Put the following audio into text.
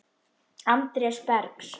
Andrés Bergs.